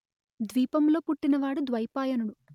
ద్వీపం లో పుట్టిన వాడు ద్వైపాయనుడు